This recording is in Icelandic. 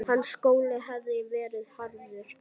Hans skóli hafði verið harður.